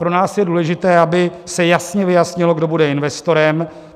Pro nás je důležité, aby se jasně vyjasnilo, kdo bude investorem.